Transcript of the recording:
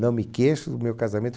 Não me queixo do meu casamento.